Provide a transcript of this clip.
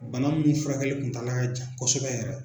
Bana minnu furakɛli kuntaala ka jan kosɛbɛ yɛrɛ.